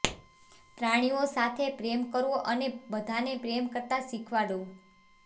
પ્રાણીઓ સાથે પ્રેમ કરવો અને બધાને પ્રેમ કરતા શિખવાડો